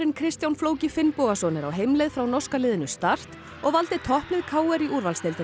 Kristján flóki Finnbogason er á heimleið frá norska liðinu start og valdi topplið k r í úrvalsdeildinni